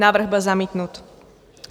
Návrh byl zamítnut.